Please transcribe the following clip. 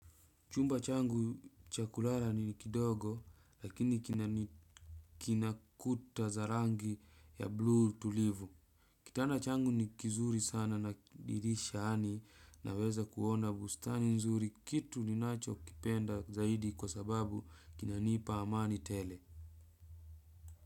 Chumba changu cha kulala ni kidogo lakini kina kuta za rangi ya bluu tulivu. Kitanda changu ni kizuri sana na dirisha yaani naweza kuona bustani nzuri kitu ninachokipenda zaidi kwa sababu kinanipa amani tele.